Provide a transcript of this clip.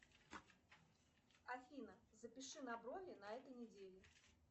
афина запиши на брови на этой неделе